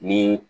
Ni